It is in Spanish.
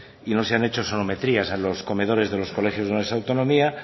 y no se han hecho sonometrías en los comedores de los colegios de esa autonomía